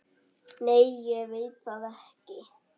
Nei ég veit það ekki.